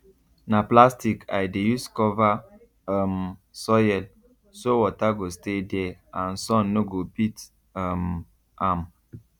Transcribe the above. na plastic i dey use cover um soil so water go stay there and sun no go beat um am